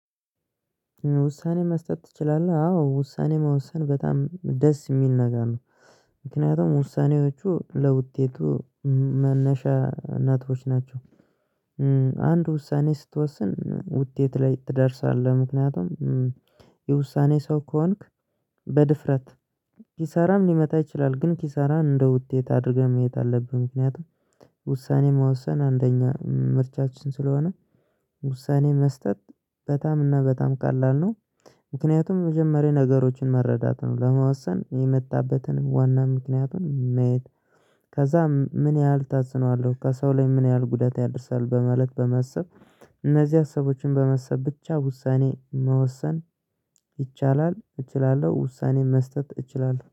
"ውሳኔ መስጠት ትችላለህ?" አዎ። ውሳኔ መወሰን በጣም ደስ የሚል ነገር ነው። ምክንያቱም ውሳኔዎቹ ለውጤቱ መነሻ እናቶች ናቸው። አንድ ውሳኔ ስትወስን ውጤት ላይ ትደርሳለህ። ምክንያቱም የውሳኔ ሰው ከሆንክ በድፍረት ኪሳራም ሊመጣ ይችላል፤ ግን ኪሳራን እንደ ውጤት አድርገህ መሄድ አለብህ። ምክንያቱም ውሳኔ መወሰን አንደኛ ምርጫችን ስለሆነ ውሳኔ መስጠት በጣም እና በጣም ቀላል ነው። ምክንያቱም መጀመሪያ ነገሮችን መረዳት ነው። ለመወሰን የመጣበትንም ዋና ምክንያቱን ማየት ከዛ ምን ያህል ተጽኖ አለው፤ ከሰው ላይ ምን ያህል ጉዳት ያደርሳል። በማለት በማሰብ እነዚያ ሰዎችን በማሰብ ብቻ ውሳኔ መወሰን ይቻላል፤ እችላለሁ። ውሳኔን መስጠት እችላለሁ።